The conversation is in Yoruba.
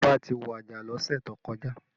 Ọba ti waja lọ́sẹ̀ tó kọjá